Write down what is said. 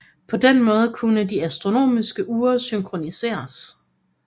På den måde kunne de astronomiske ure synkroniseres